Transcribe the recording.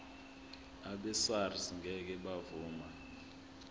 abesars ngeke bavuma